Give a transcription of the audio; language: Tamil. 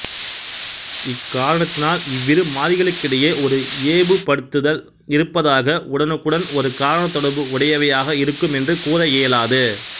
இக்காரணத்தினால் இவ்விரு மாறிகளுக்கிடையே ஒரு இயைபுப்படுத்தல் இருப்பதாக உடனுக்குடன் ஒரு காரணத்தொடர்பு உடையவையாக இருக்கும் என்று கூற இயலாது